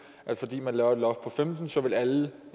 at fordi vi laver et loft på femten så vil alle